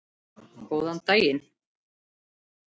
Góðan daginn.